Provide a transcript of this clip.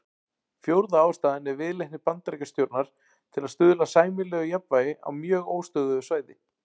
Fjórða ástæðan er viðleitni Bandaríkjastjórnar til að stuðla að sæmilegu jafnvægi á mjög óstöðugu svæði.